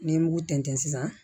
Ni n ye mugu tɛntɛn sisan